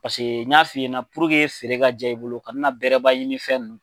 Paseke n y'a f'i ɲɛna puruke feere ka diya i bolo kana na bɛrɛba ɲini fɛn ninnu na.